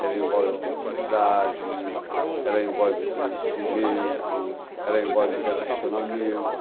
Ela envolve afetividade, ela envolve conhecimento, ela envolve relacionamento.